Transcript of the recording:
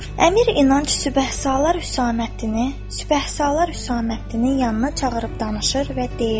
Əmir İnanc Sübəhsalar Hüsaməddini, Sübəhsalar Hüsaməddinin yanına çağırıb danışır və deyirdi.